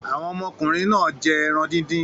Àwọn ọmọkùnrin náà jẹ́ ẹran dídín.